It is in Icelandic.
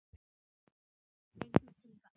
Engum til gagns.